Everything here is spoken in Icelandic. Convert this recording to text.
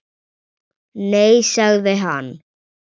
Nei sagði hann.